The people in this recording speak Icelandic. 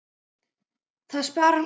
Það sparar mikla orku.